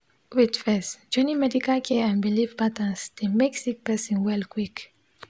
wait first joining medical care and biliv patterns dey mek sik person well quick